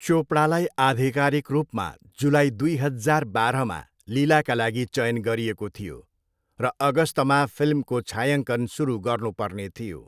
चोपडालाई आधिकारिक रूपमा जुलाई दुई हजार बाह्रमा लीलाका लागि चयन गरिएको थियो र अगस्तमा फिल्मको छायाङ्कन सुरु गर्नेु पर्ने थियो।